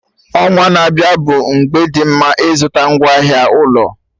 Ọnwa na-abịa bụ mgbe dị mma ịzụta ngwaahịa ụlọ